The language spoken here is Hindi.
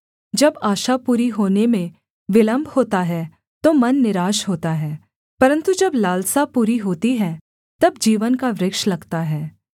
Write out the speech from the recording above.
जब आशा पूरी होने में विलम्ब होता है तो मन निराश होता है परन्तु जब लालसा पूरी होती है तब जीवन का वृक्ष लगता है